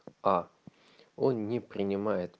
а он не принимает